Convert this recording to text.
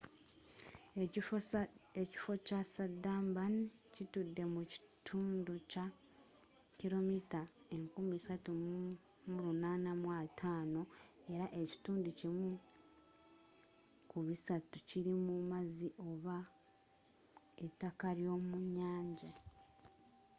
ekifo kya sandarban kitudde mu kitundu kya 3,850 km² era ekitundu kimu kubisatu kili mu mazzi oba etakka lyomunnyanja